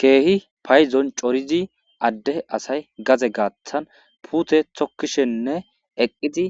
keehi payzon corizi adde asay gaze gaaththan puute tokkishenne eqqizi